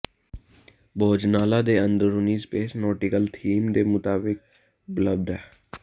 ਭੋਜਨਾਲਾ ਦੇ ਅੰਦਰੂਨੀ space nautical theme ਦੇ ਮੁਤਾਬਕ ਉਪਲਬਧ ਹੈ